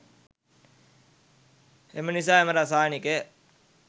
එම නිසා එම රසායනිකය